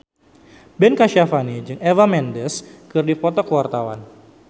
Ben Kasyafani jeung Eva Mendes keur dipoto ku wartawan